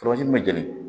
min bɛ jeni